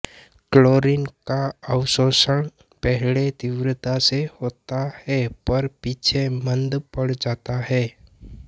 chlorine का अवशोषण पहले तीव्रता से होता है पर पीछे मंद पड़ जाता है